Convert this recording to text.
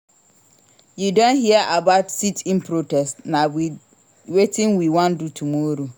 You don hear about sit-in protest? na wetin we wan do tomorrow.